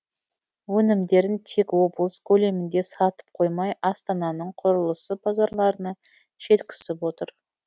өнімдерін тек облыс көлемінде сатып қоймай астананың құрылыс базарларына жеткізіп отыр